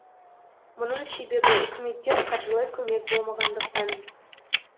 бұның себебі үкіметтен қаржылай көмек болмағандықтан